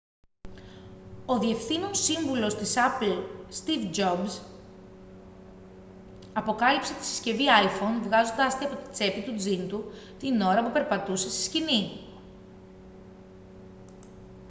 ο διευθύνων σύμβουλος της apple στιβ τζομπς αποκάλυψε τη συσκευή iphone βγάζοντάς τη από την τσέπη του τζιν του την ώρα που περπατούσε στη σκηνή